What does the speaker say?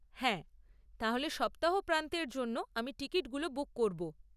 হ্যাঁ, তাহলে সপ্তাহ প্রান্তের জন্য আমি টিকিটগুলো বুক করব।